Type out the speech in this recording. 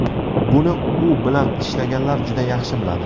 Buni u bilan ishlaganlar juda yaxshi biladi.